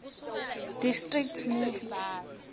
district movie